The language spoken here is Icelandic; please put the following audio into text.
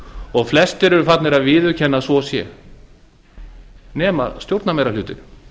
og flestir eru farnir að viðurkenna að svo sé nema stjórnarmeirihlutinn